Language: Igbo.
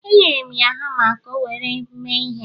Enyere m ya hama ka o were mee ihe.